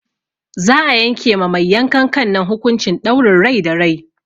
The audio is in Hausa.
Za'a yanke ma mai yankan kan nan hukuncin ɗaurin rai da rai.